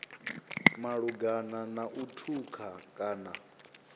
malugana na u thutha kana